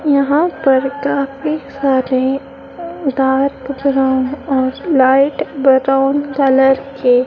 यहां पर काफी सारे डार्क ब्राउन और लाइट ब्राउन कलर के--